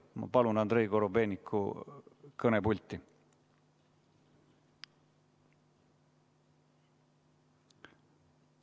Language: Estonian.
Ma palun Andrei Korobeiniku kõnepulti.